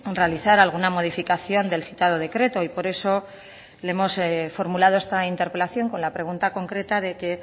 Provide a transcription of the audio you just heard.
realizar alguna modificación del citado decreto y por eso le hemos formulado esta interpelación con la pregunta concreta de que